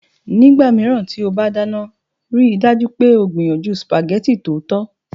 Nígbà mìíràn tí o bá dáná, rí i dájú pé o gbìyànjú spaghetti tòótọ́